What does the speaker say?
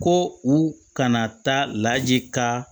Ko u kana taa laji ka